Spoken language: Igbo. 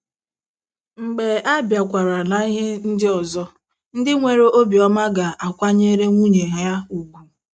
Mgbe a bịakwara n’ihe ndị ọzọ, di nwere obiọma ga - akwanyere nwunye ya ùgwù.